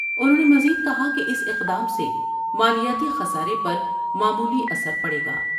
انہوں نے مزید کہا اس اقدام سے مالیاتی خسارے پر معمولی اثر پڑے گا ۔